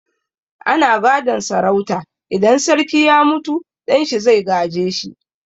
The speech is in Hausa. Ana gadon sarauta, idan sarki ya mutu ɗan shi zai gaje shi.